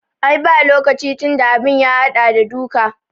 Ai ba lokaci tunda abin ya haɗa da duka